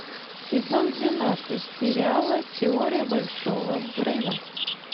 сезон двенадцать сериала теория большого взрыва